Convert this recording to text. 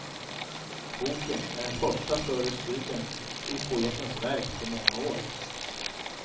Boken är den första större studien i poetens verk på många år.